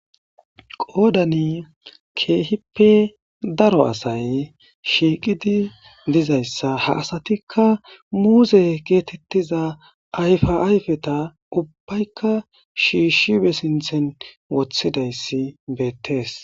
Qoodanii keehippe daro asay shiiqidi dizayssa ha asatikka muuzee geetheththiza ayfaa ayfetha ubbaykka shiishshi be sinththen woththidayssi beettees.